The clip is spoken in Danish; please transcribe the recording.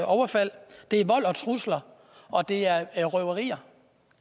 overfald det er vold og trusler og det er røverier